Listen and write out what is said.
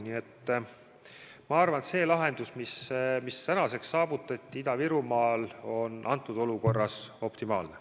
Nii et ma arvan, et see lahendus, mis tänaseks on Ida-Virumaal saavutatud, on antud olukorras optimaalne.